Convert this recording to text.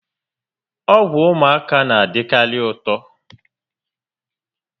Ọgwụ ụmụaka na-adikari ụtọ